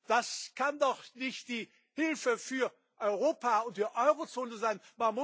Das kann doch nicht die Hilfe für Europa und die Eurozone sein.